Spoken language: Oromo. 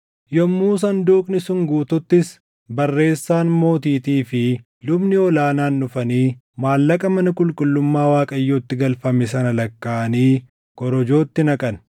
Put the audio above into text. Yommuu sanduuqni sun guututtis barreessaan mootiitii fi lubni ol aanaan dhufanii maallaqa mana qulqullummaa Waaqayyootti galfame sana lakkaaʼanii korojootti naqan.